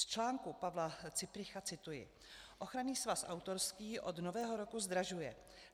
Z článku Pavla Cypricha cituji: "Ochranný svaz autorský od Nového roku zdražuje.